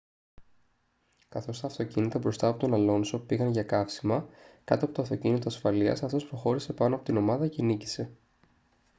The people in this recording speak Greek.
καθώς τα αυτοκίνητα μπροστά από τον αλόνσο πήγαν για καύσιμα κάτω από το αυτοκίνητο ασφαλείας αυτός προχώρησε πάνω από την ομάδα και νίκησε